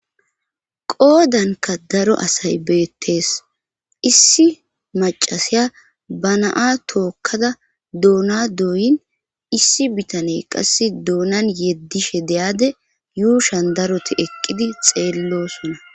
Qoodanka daro asay beettees issi macasiya banaa tookkada doona dooyin issi bitane qass doonan yeddishe deyade yuushan daroti eqqidi xeellosona